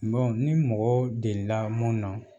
ni mɔgɔ delila mun na